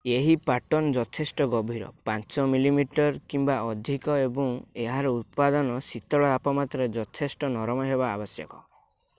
ଏହି ପାଟର୍ନ୍‌ ଯଥେଷ୍ଟ ଗଭୀର 5 mm 1/5 ଇଞ୍ଚ କିମ୍ବା ଅଧିକ ଏବଂ ଏହାର ଉପାଦାନ ଶୀତଳ ତାପମାତ୍ରାରେ ଯଥେଷ୍ଟ ନରମ ହେବା ଆବଶ୍ୟକ।